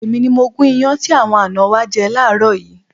Èmi ni mo gún iyán tí àwọn àná wa jẹ láàárọ̀ yìí.